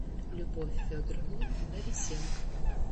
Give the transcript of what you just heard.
любовь федоровну борисенко